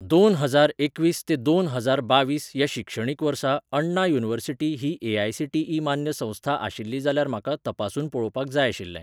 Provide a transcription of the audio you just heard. दोन हजार एकवीस ते दोन हजार बावीस ह्या शिक्षणीक वर्सा अण्णा युनिव्हर्सिटी ही ए.आय.सी.टी.ई मान्य संस्था आशिल्ली जाल्यार म्हाका तपासून पळोवपाक जाय आशिल्लें.